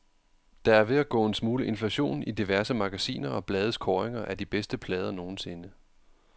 Der er ved at gå en smule inflation i diverse magasiner og blades kåringer af de bedste plader nogensinde.